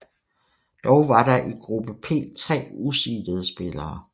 Dog var der i gruppe P tre useedede spillere